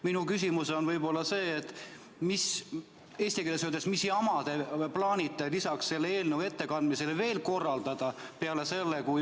Minu küsimus on selline: puhtas eesti keeles öeldes, mis jama te plaanite lisaks selle eelnõu ettekandmisele siin veel korraldada?